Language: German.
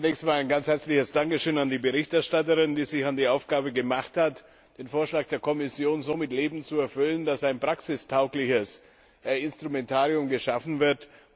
Zunächst einmal ein ganz herzliches Dankeschön an die Berichterstatterin, die sich an die Aufgabe gemacht hat, den Vorschlag der Kommission so mit Leben zu erfüllen, dass ein praxistaugliches Instrumentarium geschaffen wird.